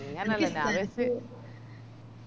അങ്ങനല്ലേ ഞാൻ വിചാരിച്